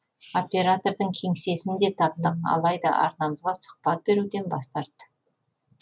оператордың кеңсесін де таптық алайда арнамызға сұхбат беруден бас тартты